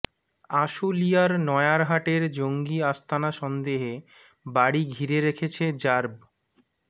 আশুলিয়ার নয়ারহাটের জঙ্গি আস্তানা সন্দেহে বাড়ি ঘিরে রেখেছে র্যাব